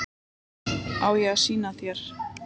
Á ég að sýna þér?